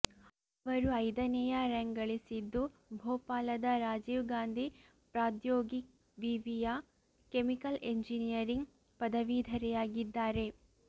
ಅವರು ಐದನೇ ರ್ಯಾಂಕ್ ಗಳಿಸಿದ್ದು ಭೋಪಾಲದ ರಾಜೀವ್ ಗಾಂಧಿ ಪ್ರದ್ಯೋಗಿಕ್ ವಿವಿಯ ಕೆಮಿಕಲ್ ಇಂಜಿನಿಯರಿಂಗ್ ಪದವೀಧರೆಯಾಗಿದ್ದಾರೆ